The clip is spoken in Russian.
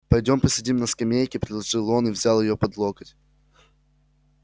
пойдёмте посидим на скамейке предложил он и взял её под локоть